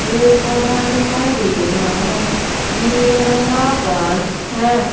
पेड़ पौधा दिखाई दे रहा है नीले रंग का आकाश है।